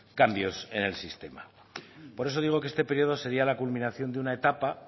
cambios en el sistema por eso digo que este periodo sería la culminación de una etapa